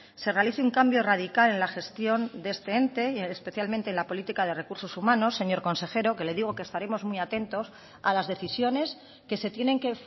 se realice un cambio radical en la gestión de este ente y especialmente en la política de recursos humanos señor consejero que le digo que estaremos muy atentos a las decisiones que se tienen que